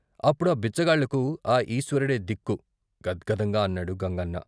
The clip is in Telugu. అప్పుడు ఆ బిచ్చగాళ్ళకు ఆ ఈశ్వరుడే దిక్కు గద్దదంగా అన్నాడు గంగన్న.